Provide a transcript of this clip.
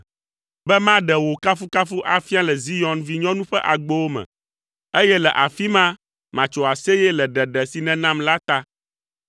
be maɖe wò kafukafu afia le Zion Vinyɔnu ƒe agbowo me, eye le afi ma matso aseye le ɖeɖe si nènam la ta.